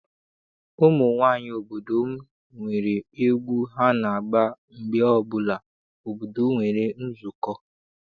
Ụmụ nwaanyị obodo m nwere egwu ha na-agba mgbe ọbụla obodo nwere nzukọ.